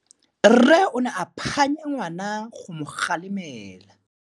Rre o ne a phanya ngwana go mo galemela.